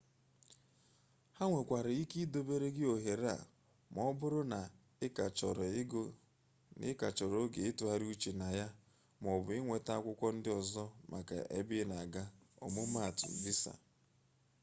ha nwekwara ike idobere gị ohere a ma ọ bụrụ na ị ka chọrọ oge ịtụgharị uche na ya maọbụ ịnweta akwụkwọ ndị ọzọ maka ebe ị na-aga ọmụmaatụ: visa